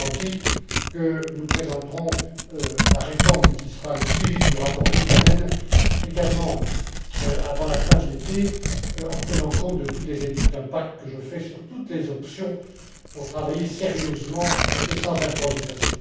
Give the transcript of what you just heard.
Morganti, que nous présenterons la réforme qui sera le suivi du rapport Liikanen également avant la fin de l'été, en tenant compte de toutes les études d'impact que je fais sur toutes les options pour travailler sérieusement et sans improvisation.